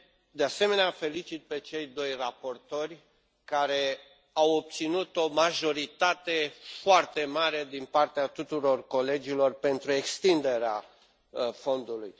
De asemenea, îi felicit pe cei doi raportori, care au obținut o majoritate foarte mare din partea tuturor colegilor pentru extinderea fondului.